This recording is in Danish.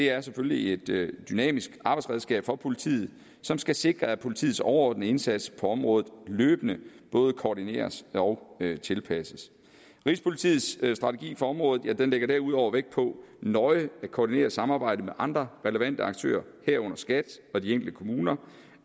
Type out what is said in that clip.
er selvfølgelig et dynamisk arbejdsredskab for politiet som skal sikre at politiets overordnede indsats på området løbende både koordineres og tilpasses rigspolitiets strategi for området ligger derudover vægt på nøje at koordinere samarbejdet med andre relevante aktører herunder skat og de enkelte kommuner